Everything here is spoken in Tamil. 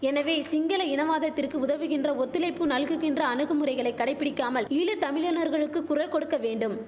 எனவே சிங்கள இனவாதத்திற்கு உதவுகின்ற ஒத்துழைப்பு நல்குகின்ற அணுகுமுறைகளை கடைபிடிக்காமல் ஈழ தமிழினர்களுக்கு குரல் கொடுக்க வேண்டும்